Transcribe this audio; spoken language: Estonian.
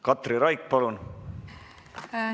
Katri Raik, palun!